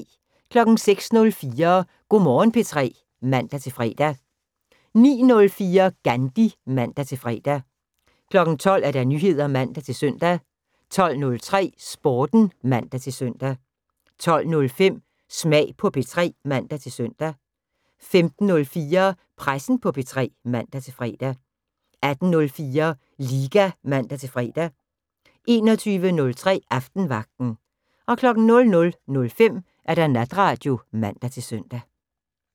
06:04: Go' Morgen P3 (man-fre) 09:04: GANDHI (man-fre) 12:00: Nyheder (man-søn) 12:03: Sporten (man-søn) 12:05: Smag på P3 (man-søn) 15:04: Pressen på P3 (man-fre) 18:04: LIGA (man-fre) 21:03: Aftenvagten 00:05: Natradio (man-søn)